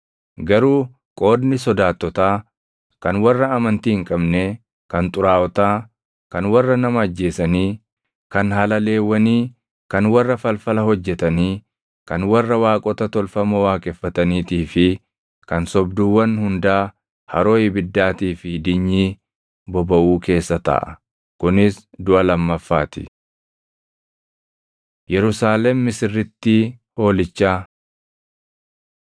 Garuu qoodni sodaattotaa, kan warra amantii hin qabnee, kan xuraaʼotaa, kan warra nama ajjeesanii, kan halaleewwanii, kan warra falfala hojjetanii, kan warra waaqota tolfamoo waaqeffataniitii fi kan sobduuwwan hundaa haroo ibiddaatii fi dinyii bobaʼuu keessa taʼa; kunis duʼa lammaffaa ti.” Yerusaalem Misirrittii Hoolichaa